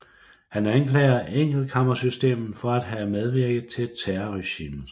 Han anklager enkeltkammersystemet for at have medvirket til terrorregimet